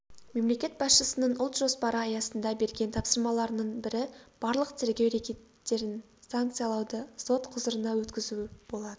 мемлекет басшысының ұлт жоспары аясында берген тапсырмаларының бірі барлық тергеу рекеттерін санкциялауды сот құзырына өткізу болатын